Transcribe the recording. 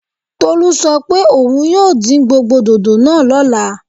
Tolú sọ pé òun yóò dín gbogbo dòdò náà lọ́la